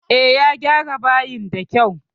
E, ya gyara bayin da kyau